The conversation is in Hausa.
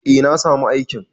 Eh na samu aikin.